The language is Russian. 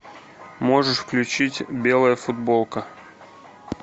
можешь включить белая футболка